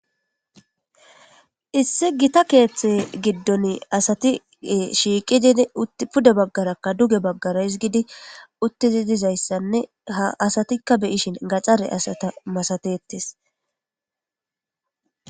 issi gita keeththe giddon asati shiiqidin puda baggarakka duge baggara hisgidi uttizi dizayssanne ha asatikka beyishin gaxare asata masatettes